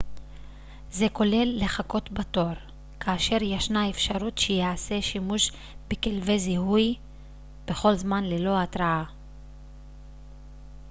זה כולל לחכות בתור כאשר ישנה אפשרות שייעשה שימוש בכלבי זיהוי בכל זמן ללא התרעה